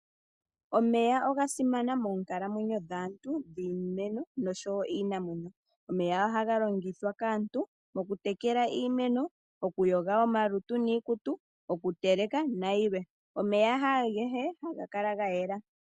Omeya oga simana moonkalamwenyo dhaantu, dhiimeno, noshowo iinamwenyo. Omeya ohaga longithwa kaantu okutekela iimeno, okuyoga omalutu niikutu, okuteleka, nayilwe. Omeya haagehe haga kala gayela.